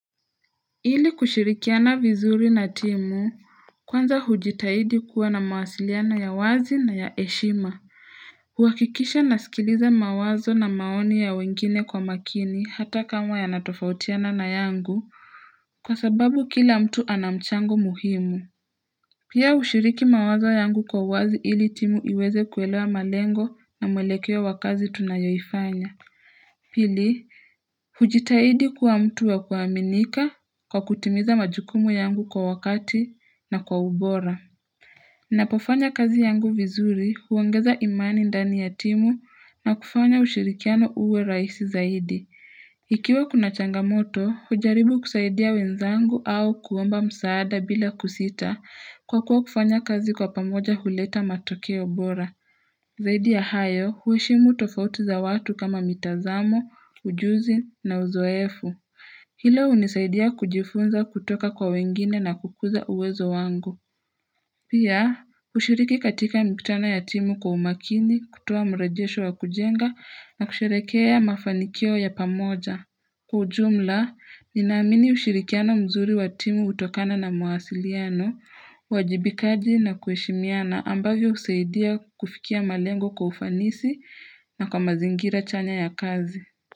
Ili kushirikiana vizuri na timu Kwanza hujitahidi kuwa na mawasiliana ya wazi na ya heshima kuhakikisha nasikiliza mawazo na maoni ya wengine kwa makini hata kama yanatofautiana na yangu Kwa sababu kila mtu anamchangu muhimu. Pia ushiriki mawazo yangu kwa wazi ili timu iweze kuwelewa malengo na mwelekeo wa kazi tunayoifanya Pili, hujitahidi kuwa mtu wa kuaminika kwa kutimiza majukumu yangu kwa wakati na kwa ubora. Ninapofanya kazi yangu vizuri huongeza imani ndani ya timu na kufanya ushirikiano uwe rahisi zaidi. Ikiwa kuna changamoto, hujaribu kusaidia wenzangu au kuomba msaada bila kusita kwa kuwa kufanya kazi kwa pamoja huleta matokeo bora. Zaidi ya hayo, heshimu tofauti za watu kama mitazamo, ujuzi na uzoefu. Hilo hunisaidia kujifunza kutoka kwa wengine na kukuza uwezo wangu. Pia, ushiriki katika mikutana ya timu kwa umakini kutoa mrejesho wa kujenga na kusherehekea mafanikio ya pamoja. Kwa ujumla, ninaamini ushirikiano mzuri wa timu hutokana na muwasiliano, uwajibikaji na kueshimiana ambavyo husaidia kufikia malengo kwa ufanisi na kwa mazingira chanya ya kazi.